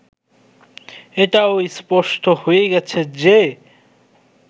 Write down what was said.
এটাও স্পষ্ট হয়ে গেছে যে